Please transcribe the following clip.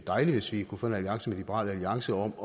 dejligt hvis vi kunne få en alliance med liberal alliance om